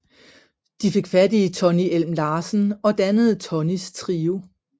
De fik fat i Tonny Elm Larsen og dannede Tonnys Trio